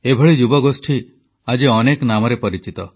ଏଭଳି ଯୁବଗୋଷ୍ଠୀ ଆଜି ଅନେକ ନାମରେ ପରିଚିତ